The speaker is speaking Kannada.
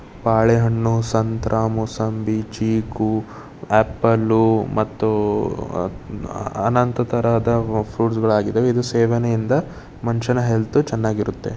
ಬಾಳೆಹಣ್ಣು ಸಂತ್ರ ಮೋಸಂಬಿ ಚೀಕು ಆಪಲ್ ಮತ್ತು ಅನಂತ ತರಹದ ಫ್ರೂಟ್ಸ್ ಗಳಾಗಿದವೆ ಇದು ಸೇವನೆಯಿಂದ ಮನುಷ್ಯನ ಹೆಲ್ತ್ ಚೆನ್ನಾಗಿರುತ್ತೆ.